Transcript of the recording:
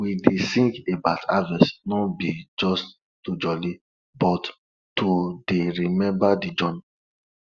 we dey sing about harvest no be just to jolli but to dey remember de journey